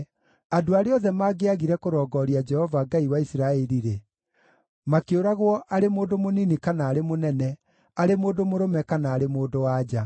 Andũ arĩa othe mangĩagire kũrongooria Jehova, Ngai wa Isiraeli-rĩ, makĩũragwo arĩ mũndũ mũnini kana arĩ mũnene, arĩ mũndũ mũrũme kana arĩ mũndũ-wa-nja.